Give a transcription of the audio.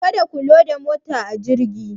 Ka da ku loda motaci a jirgin.